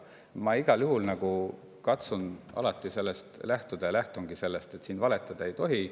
Aga ma igal juhul katsun alati sellest lähtuda ja lähtungi sellest, et siin valetada ei tohi.